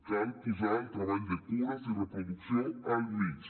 cal posar el treball de cures i reproducció al mig